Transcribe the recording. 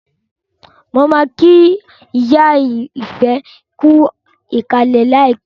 Mo ma kí ìyá Ifẹ̀ kú ìkàlẹ̀ láìpẹ́